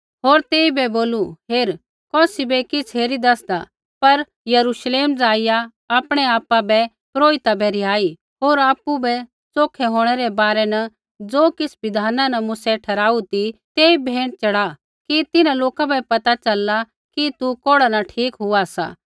होर तेइबै बोलू हेर कौसी बै किछ़ हेरी दैसदा पर यरुश्लेम जाईया आपणै आपा बै पुरोहिता बै रिहाई होर आपु बै च़ोखै होंणै रै बारै न ज़ो किछ़ बिधाना न मूसै ठहराऊ ती तेई भेंट च़ढ़ा कि तिन्हां लोका बै पता च़लला कि तू कोढ़ा न ठीक हुआ सा